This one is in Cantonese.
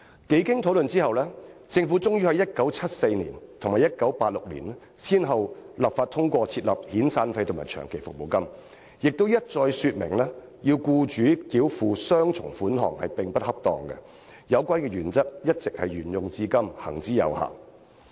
經多番討論後，政府終於在1974年及1986年，先後立法通過設立遣散費和長期服務金，亦一再表明要僱主繳付雙重款項並不恰當，該原則一直沿用至今，行之有效。